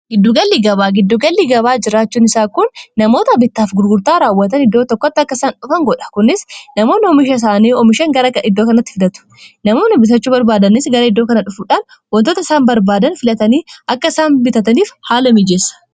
giddugalli gabaa giddugalli gabaa jiraachuun isaa kun namoota bitaaf gurgurtaa raawwatan iddoo tokkotti akka isaan dhufan godha kunis namoon oomisha isaanii oomishan gara iddoo kanatti fidatu namoonni bitachuu barbaadani gara iddoo kana dhufuudhaan wantoota isaan barbaadan filatanii akka isaan bitataniif haala miijeessa